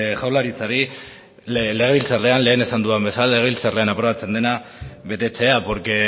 jaurlaritzari legebiltzarrean lehen esan dudan bezala legebiltzarrean aprobatzen dena betetzea porque